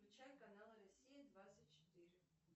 включай канал россия двадцать четыре